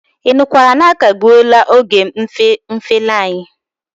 Ị nụkwara na akagbuela oge mfeli anyị?